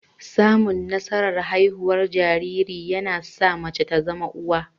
Samun nasarar haihuwar jariri, yana sa mace ta zama uwa